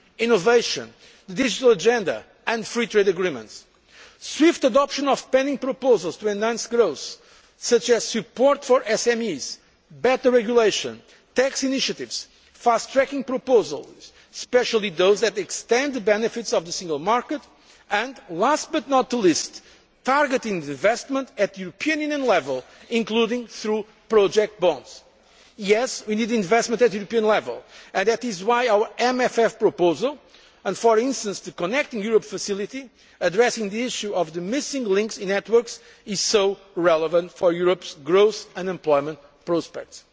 energy, innovation, the digital agenda and free trade agreements, and for swift adoption of pending proposals to enhance growth, such as support for SMEs, better regulation, tax initiatives, fast tracking proposals, especially those that extend the benefits of the Single Market, and last but not least, targeted investment at European Union level, including through project bonds. Yes, we need investment at European level, and that is why our MFF proposal and for instance the Connecting Europe Facility addressing the issue of the missing links in networks is so relevant for Europe's growth and employment